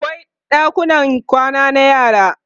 akwai ɗakunan kwana na yara